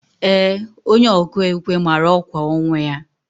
Ee, onye ọkụ ekwe mara ọkwa ọnwụ ya.